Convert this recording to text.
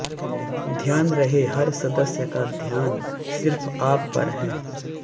ध्यान रहे हर सदस्य का ध्यान सिर्फ आप पर है